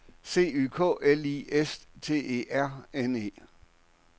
C Y K L I S T E R N E